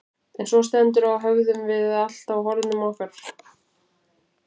Þegar svo stendur á höfum við allt á hornum okkar.